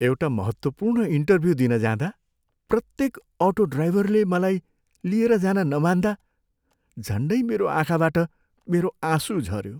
एउटा महत्त्वपूर्ण इन्टर्भ्यु दिन जाँदा प्रत्येक अटो ड्राइभरले मलाई लिन लिएर जान नमान्दा झन्डै मेरो आँखाबाट मेरो आँसु झऱ्यो।